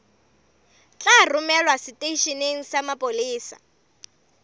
tla romelwa seteisheneng sa mapolesa